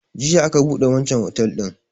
Jiya aka buɗe wanchan otel din